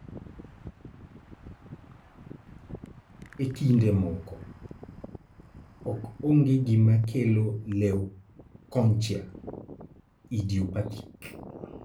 E kinde moko, ok ong'e gima kelo leukonychia (idiopathic)